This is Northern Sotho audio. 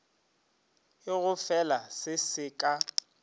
e gofela se se ka